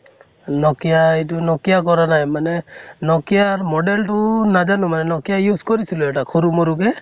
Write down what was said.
nokia এইটো nokia কৰা নাই মানে nokia ৰ model টো নাজানো মানে nokia use কৰিছিলো এটা সৰু মৰু কে